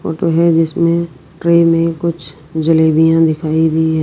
Photo हैं जिसमें tray में कुछ जलेबियां दिखाई गईं हैं।